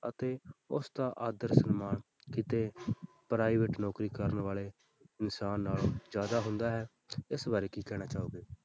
ਅਤੇ ਉਸਦਾ ਆਦਰ ਸਨਮਾਨ ਕਿਤੇ private ਨੌਕਰੀ ਕਰਨ ਵਾਲੇ ਇਨਸਾਨ ਨਾਲੋਂ ਜ਼ਿਆਦਾ ਹੁੰਦਾ ਹੈ ਇਸ ਬਾਰੇ ਕੀ ਕਹਿਣਾ ਚਾਹੋਗੇ।